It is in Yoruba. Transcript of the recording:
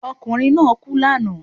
Okùnrin náà kú lànáà